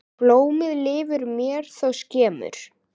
Blómið lifir mér þó skemur.